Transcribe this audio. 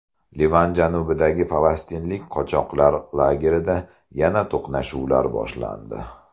Livan janubidagi falastinlik qochoqlar lagerida yana to‘qnashuvlar boshlandi.